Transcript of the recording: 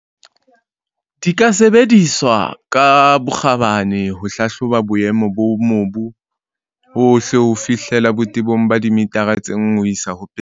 Di ka sebediswa ka bokgabane ho hlahloba boemo ba mobu ohle ho fihlela botebong ba dimithara tse 1,2.